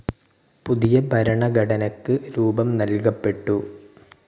പുതിയ ഭരണഘടനക്ക് രൂപം നല്കപ്പെട്ടു.